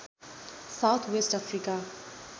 south West Africa